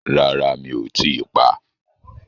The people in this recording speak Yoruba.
Rárá mi ò tíi pá,